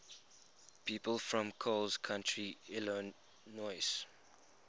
people from coles county illinois